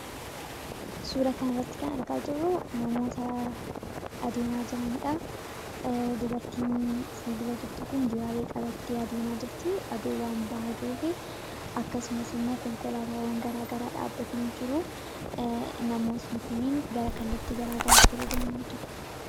Suuraa kanarratti kan argaa jirru, namoota adeemaa jiranidha. Dubartiin fuuldura jirtu kun dibaabee qabattee adeemaa jirti aduun waan bahaa jiruuf. Akkasumas, konkolaataawwan garaagaraa dhaabbatanii jiru. Namoonni kunniin gara kallattii garaagaraatti yommuu deeman argina.